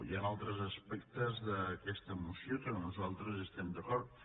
hi han altres aspectes d’aquesta moció en què nosaltres estem d’acord